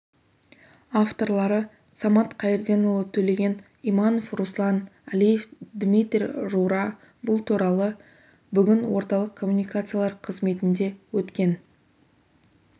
авторлары самат қайырденұлы төлеген иманов руслан әлиев дмитрий рура бұл туралы бүгін орталық коммуникациялар қызметінде өткен